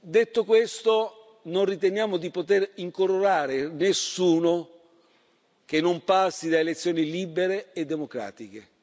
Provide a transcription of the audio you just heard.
Detto questo, non riteniamo di poter incoronare nessuno che non passi da elezioni libere e democratiche.